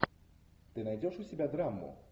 ты найдешь у себя драму